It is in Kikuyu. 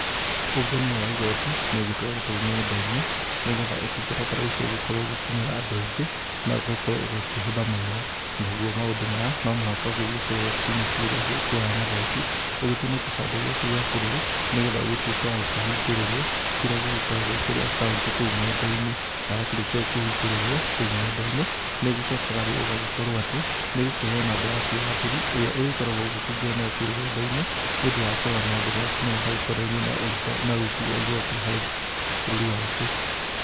Ũngania wa igoti nĩ ũgĩtwarĩtwo nenda-inĩ nĩgetha ũtungata ta ũcio ũgĩkorwo ũgĩkinyĩra andũ aingĩ na ũgagĩkorwo ũgakĩhũtha mũno nagũo maũndũ maya no mũhaka ũgĩthie obici-inĩ iria ciĩkĩraga magoti ,ũgĩthiĩ na kibandĩ gĩaku gia bũrũri nĩgetha ũgĩtuike wa gũkĩhĩngũrĩrwo kĩria gĩkĩrĩ akaunti kũu nenda-inĩ ,na wakĩrĩkia gũkĩhĩngũrĩrwo kũu nenda-inĩ nĩ ũgĩcokaga rĩu ũgakorwo atĩ nĩ ũgũkĩheo namba yaku ya thiri ĩrĩa ũrĩkoragwo ũkĩingĩra nayo kũu rũrenda-inĩ nĩ ũndũ wa kũrora maũndũ maku marĩa makonainie na ũrũti wa igoti harĩ bũrũri waku.